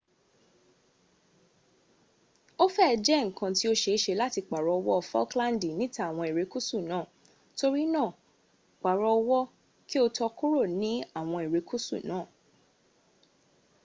o fee je nkan ti o seese lati paro owo falklandi nita awon irekusu naa tori naa paro owo ki o to kuro ni awon irekusu naa